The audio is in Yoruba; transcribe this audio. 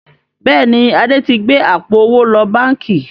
Bẹ́ẹ̀ni, Adé tí gbé àpò owó lọ báńkì